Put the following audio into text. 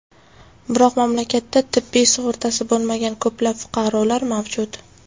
Biroq mamlakatda tibbiy sug‘urtasi bo‘lmagan ko‘plab fuqarolar mavjud.